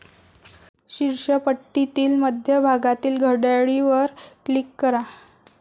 शीर्ष पट्टीतील मध्य भागातील घड्याळीवर क्लिक करा.